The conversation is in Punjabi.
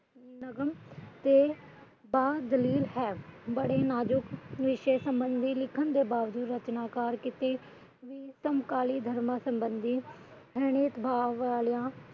ਬੜੇ ਨਾਜ਼ੁਕ ਵਿਸ਼ੇ ਸਬੰਧੀ ਲਿਖਣ ਦੇ ਬਾਵਜੂਦ ਰਚਨਾਕਾਰ ਕੀਤੇ ਉਤੱਮ ਕਾਲੀਨ ਧਰਮਾਂ ਸੰਬੰਧੀ